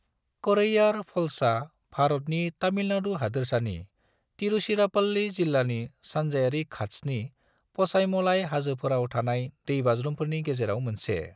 करैयार फल्सआ भारतनि, तामिलनाडु हादोरसानि, तिरुचिरापल्ली जिल्लानि, सानजायारि घात्सनि पचाईमलाई हाजोफोराव थानाय दैबाज्रुमफोरनि गेजेराव मोनसे।